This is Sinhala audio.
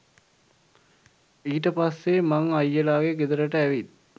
ඊට පස්සේ මං අයියලාගේ ගෙදරට ඇවිත්